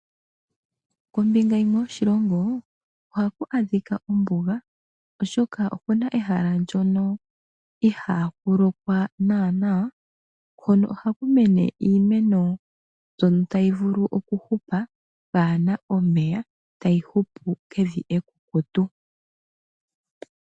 Kombinga yimwe yoshilongo ohaku adhika ombuga oshoka oku na ehala ndono ihaa ku lokwa naana, hono ohaku mene iimeno mbyono tayi vulu okuhupa pwaana omeya, tayi hupu pevi ekukutu.